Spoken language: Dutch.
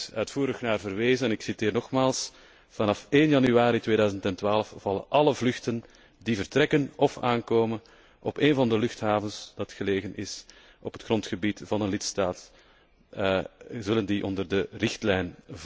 Er is uitvoerig naar verwezen en ik zeg het hier nogmaals vanaf 1 januari 2012 vallen alle vluchten die vertrekken of aankomen op een van de luchthavens die gelegen is op het grondgebied van een lidstaat onder die richtlijn.